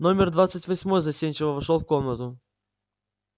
номер двадцать восьмой застенчиво вошёл в комнату